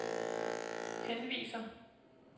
henviser